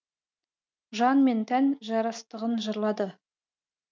жан мен тән жарастығын жырлады